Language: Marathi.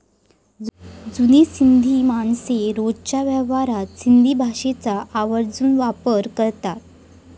जुनी सिंधी माणसे रोजच्या व्यवहारात सिंधी भाषेचा आवर्जून वापर करतात.